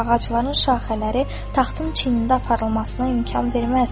Ağacların şaxələri taxtın çinində aparılmasına imkan verməz.